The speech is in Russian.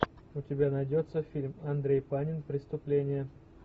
у тебя найдется фильм андрей панин преступление